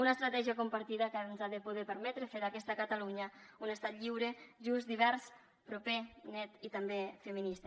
una estratègia compartida que ens ha de poder permetre fer d’aquesta catalunya un estat lliure just divers proper net i també feminista